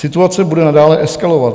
Situace bude nadále eskalovat.